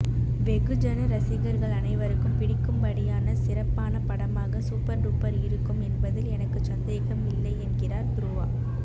வெகுஜன ரசிகர்கள் அனைவருக்கும் பிடிக்கும்படியான சிறப்பான படமாக சூப்பர் டூப்பர் இருக்கும் என்பதில் எனக்குச் சந்தேகமில்லை என்கிறார் துருவா